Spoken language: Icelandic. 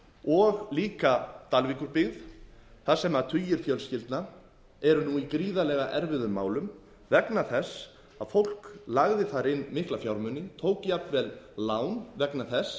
og líka dalvíkurbyggð þar sem tugir fjölskyldna eru nú í gríðarlega erfiðum málum vegna þess að fólk lagði þar inn mikla fjármuni tók jafnvel lán vegna þess